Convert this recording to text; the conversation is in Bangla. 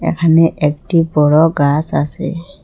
এখানে একটি বড়ো গাস আসে।